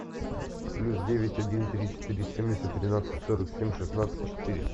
плюс девять один три четыре семьдесят тринадцать сорок семь шестнадцать четыре